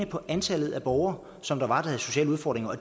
på antallet af borgere som havde sociale udfordringer og